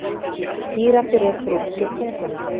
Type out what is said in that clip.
Gíraffi rekur út úr sér tunguna.